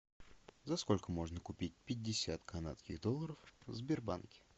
за сколько можно купить пятьдесят канадских долларов в сбербанке